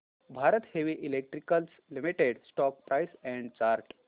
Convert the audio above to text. Bharat heavy electricals limited stock price and chart